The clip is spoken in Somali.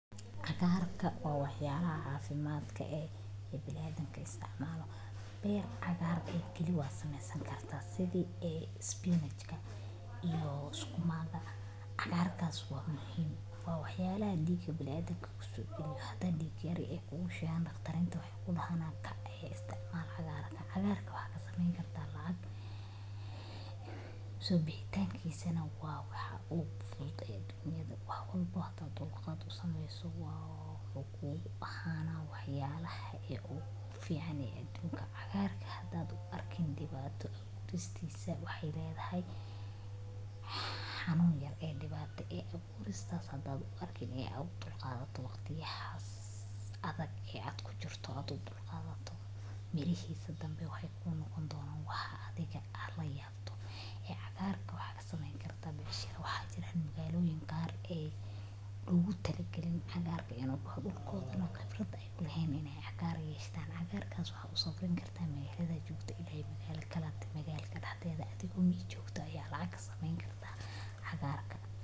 Cagaarka waa waxyaala caafimaadka ee, ee bilaaadanka istaacmaalo. Beer cagaar ah keli waad sameysan kartaas sidi ee spinach iyo sukuma. Cagaarkaas waa muhiim. Waa waxyaalaa diig ee bilaaadanka kusoo bil laha. Haddaan diiqa yaree kuugu shaygana. Dhakhtarinta waxay ku dhahana kaa istaacmaallahay cagaarka. Cagaarka waxaa ka samayn kartaa lacag. Isobixtan kiisa na waa waxa ugu fudud ee dunyada. Wax walbooda dulqaad u sameyso waa uu ku baxaanaa waxyaallaaha ee u fiicnaya adduunka. Cagaarka haddaad arkin dibaado u istaysaa waxay leedahay xanuun yar ee dibada abuhuris sadha arkin ee u dulqaadato wakhti xas adag ee cad ku jirto adoo dulqaadato. Mirihiisa danbe waxay kuu noqon doonoan waxa adiga ah la yaabto. Cagaarka waxaa kasameyn karta biisharaaxo jira magaaloyin gaar ayu lugutaligalin cagaarka inuu kubaho dulqooda noqon qabrad ay leheen in ay cagaar yeshtaan. Cagaarkaas waa u safraan kartaa meelaha ajuubta ilaysa magaalo kala duwan magaalka dadweydada. Adigoo miijyoogto ayaa lacag ka sameyni kartaa cagaarka.